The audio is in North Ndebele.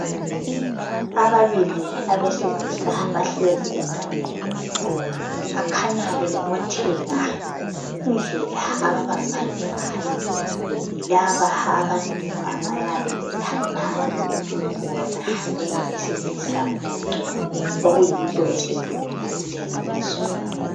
ababi abesilisa bahlezi egangeni bakhanya bebobotheka indlela ababambane ngayo yilaba abantu abayabe bethandana bona bengabesilisa okuyinto esidumile kulezi insuku